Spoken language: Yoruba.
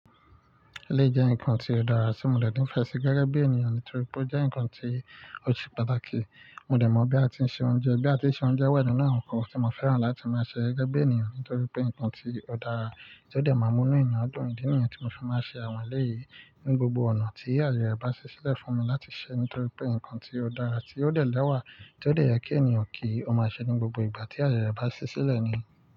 Ilé jẹ́ nǹkan tí ó dára tí mo le ni fè sí gẹ́gẹ́ bí ènìyàn nítorí pé ó jẹ́ nǹkan tí ó se pàtàkì. Mo dẹ̀ mọ̀ bí a ti ń se oúnjẹ, bí a ti ń se oúnjẹ wa ninu ńkan tí mo fẹ́ràn láti máa ṣe gẹ́gẹ́ bí ènìyàn nítorí pé nǹkan tí ó dára tí ó dẹ̀ máa mú inú ènìyàn dùn nìyẹn tí mo fi máa ń ṣe àwọn eléyìí ní gbogbo ọ̀nà tí ayẹyẹ bá ṣẹ́ sílẹ̀ fún mi láti ṣe nítorí pé nǹkan tí ó dára tí ó dẹ̀ lẹ́wà tí ó dẹ̀ yẹ kí ènìyàn kí ó máa ṣe ní gbogbo ìgbà tí ayẹrẹ bá ṣí sílẹ̀ ni.